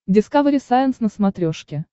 дискавери сайенс на смотрешке